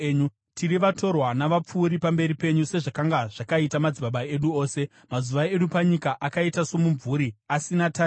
Tiri vatorwa navapfuuri pamberi penyu, sezvakanga zvakaita madzibaba edu ose. Mazuva edu panyika akaita somumvuri, asina tariro.